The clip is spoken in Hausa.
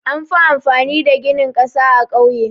Anfi amfani da gini ƙasa a ƙauye.